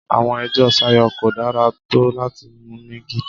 Àwọn ẹjọ́ Sayo kò dára tó láti mú ní gidi.